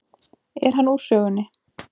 Er hann úr sögunni.